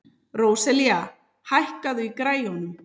Róselía, hækkaðu í græjunum.